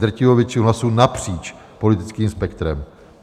Drtivou většinu hlasů napříč politickým spektrem.